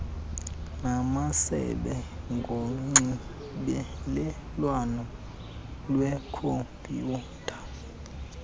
namasebe ngonxibelelwano lwekhompyutha